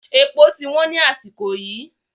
Èpò ti wọ́n ni àsìkò yìí